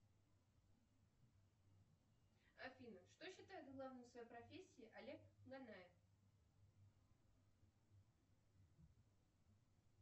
афина что считает главным в своей профессии олег нанев